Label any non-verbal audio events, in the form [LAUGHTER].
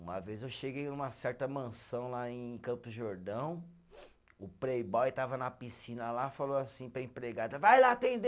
Uma vez eu cheguei numa certa mansão lá em Campos do Jordão, [INHALES] o playboy estava na piscina lá, falou assim para a empregada, vai lá atender